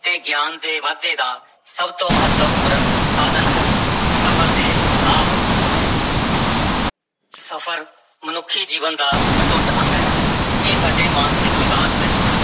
ਤੇ ਗਿਆਨ ਦੇ ਵਾਧੇ ਦਾ ਸਭ ਤੋਂ ਮਹੱਤਵਪੂਰਨ ਸਾਧਨ ਹੈ ਸਫ਼ਰ ਦੇ ਲਾਭ ਸਫ਼ਰ ਮਨੁੱਖੀ ਜੀਵਨ ਦਾ ਅਟੁੱਟ ਅੰਗ ਹੈ, ਇਹ ਸਾਡੇ ਮਾਨਸਿਕ ਵਿਕਾਸ ਵਿੱਚ